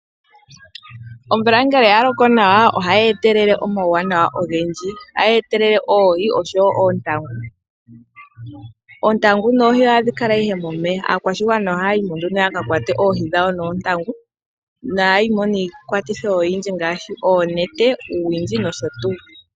Omvula ngele ya loko nawa ohayi etelele omauwanawa ogendji. Ohayi etelele woo oohi oshowoo oontangu. Oontangu noohi ohadhi kala ihe momeya. Aakwashigwana ohaya yi mo nduno yaka kwate oohi noontangu. Ohaya yimo noonete, uuwindji noshotuu.